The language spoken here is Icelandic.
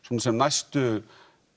sem næstu